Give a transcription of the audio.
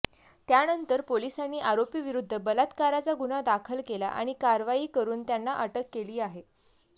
त्यानंतर पोलिसांनी आरोपीविरुद्ध बलात्काराचा गुन्हा दाखल केला आणि कारवाई करून त्यांना अटक केली आहे